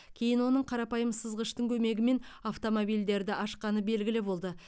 кейін оның қарапайым сызғыштың көмегімен автомобильдерді ашқаны белгілі болды